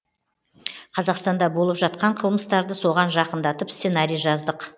қазақстанда болып жатқан қылмыстарды соған жақындатып сценарий жаздық